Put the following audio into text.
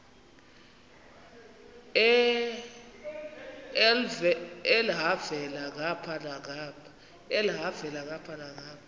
elhavela ngapha nangapha